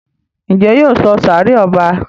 Njé yóò sọ sáré ọba?